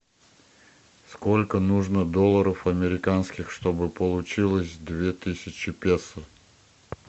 сколько нужно долларов американских чтобы получилось две тысячи песо